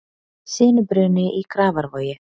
Sinubruni í Grafarvogi